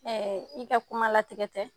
i ka kuma latigɛ tɛ.